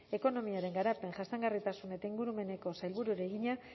ekonomiaren garapen jasangarritasun eta ingurumeneko sailburuari egina